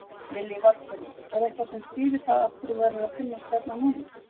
Lillý Valgerður: Er eitthvað sem skýrir það af hverju þær eru að finnast hérna núna?